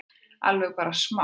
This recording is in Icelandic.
Allavega bara smá?